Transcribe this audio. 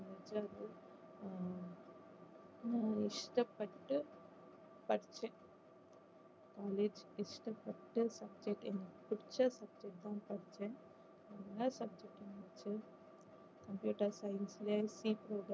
நான் இஷ்டப்பட்டு படிச்சேன் college இஷ்டப்பட்டு படிச்சேன் எனக்கு பிடிச்ச subject தான் படிச்சேன் நிறைய subject இருந்துச்சு computer science